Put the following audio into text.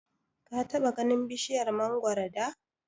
Ka taɓa ganin bishiyar mangoro da?